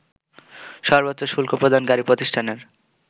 সর্বোচ্চ শুল্ক প্রদানকারী প্রতিষ্ঠানের